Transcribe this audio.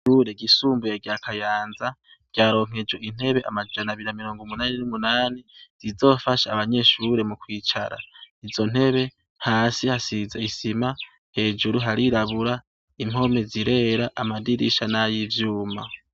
Ishure ryisumbuye rya Kayanza ryaronkejwe intebe amajana abiri na mirongumunani n'umunani zizofasha abanyeshure mukwicara. Izo ntebe hasi hasize isima hejuru harirabura impome zirera amadirisha nay'ivyuma